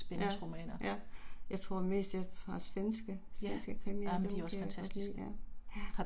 Ja, ja, jeg tror mest jeg har svenske svenske krimier dem kan jeg godt lide ja, ja